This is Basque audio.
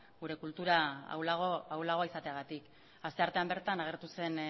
gure kultura ahulagoa izateagatik asteartean bertan agertu zen